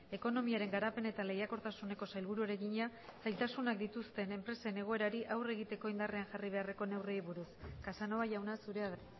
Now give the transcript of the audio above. ekonomiaren garapen eta lehiakortasuneko sailburuari egina zailtasunak dituzten enpresen egoerari aurre egiteko indarrean jarri beharreko neurriei buruz casanova jauna zurea da